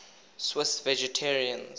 swiss vegetarians